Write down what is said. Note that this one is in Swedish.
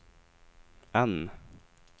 N